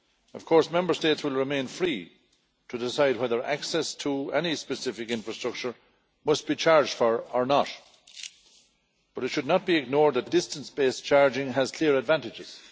Of course, Member States will remain free to decide whether access to any specific infrastructure must be charged for or not, but it should not be ignored that distance based charging has clear advantages.